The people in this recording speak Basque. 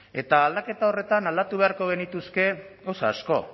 eta aldaketa horretan aldatu beharko genituzke gauza asko